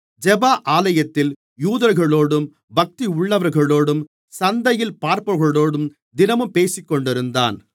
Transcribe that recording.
ஜெப ஆலயத்தில் யூதர்களோடும் பக்தியுள்ளவர்களோடும் சந்தையில் பார்ப்பவர்களோடும் தினமும் பேசிக்கொண்டிருந்தான்